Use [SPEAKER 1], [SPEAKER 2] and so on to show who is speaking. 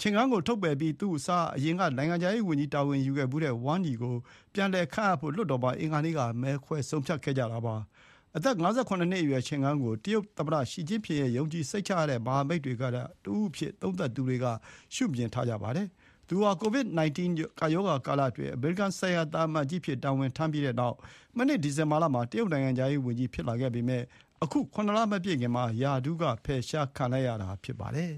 [SPEAKER 1] တွေ့မှာ အာဏာမရှိတဲ့ လွှတ်တော်မှာ Qin Gang ကိုထုတ်ပယ်ပြီး သူ့အစား အရင်က နိုင်ငံခြားရေး ဝန်ကြီး တာဝန်ယူခဲ့ဖူးတဲ့ Wang Yi ကို ပြန်လည်ခန့်အပ်ဖို့ အင်္ဂါနေ့က မဲခွဲဆုံးဖြတ်ခဲ့ကြတာပါ။ အသက် ၅၇ နှစ်အရွယ် Qin Gangဟာ တရုတ် သမ္မတ ရှီကျင့်ဖျင်ရဲ့ ယုံကြည်စိတ်ချရတဲ့ မဟာမိတ်တွေထဲက တဦးအဖြစ် ကာလကြာရှည် ရှုမြင်ခံခဲ့ရသူဖြစ်ပါတယ်။ သူဟာ COVID-19 ကပ်ရောဂါကာလအတွင်း အမေရိကန်ဆိုင်ရာ သံအမတ်ကြီးအဖြစ် တာဝန်ထမ်းပြီးနောက် မနှစ်ဒီဇင်ဘာလမှာ တရုတ်နိုင်ငံခြားရေး ဝန်ကြီး ဖြစ်လာပေမယ့် အခု ၇ လ မပြည့်ခင်မှာပဲ ရာထူးက ဖယ်ရှားခံလိုက်ရတာ ဖြစ်ပါတယ်။